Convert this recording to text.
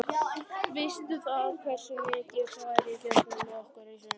Veistu það, hversu mikið hefur farið gegn okkur í sumar?